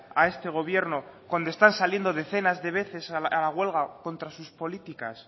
a este gobierno cuando están saliendo decenas de veces a la huelga contra sus políticas